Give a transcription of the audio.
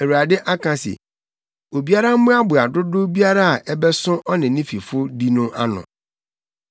Awurade aka se, ‘Obiara mmoaboa dodow biara a ɛbɛso ɔne ne fifo di no ano.’”